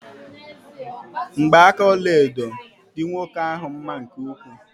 Mgba aka ọlaedo dị nwoke ahụ mma nke ukwuu.